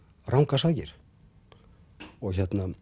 rangar sakir og